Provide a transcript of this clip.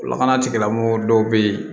Lakana tigilamɔgɔw dɔw bɛ ye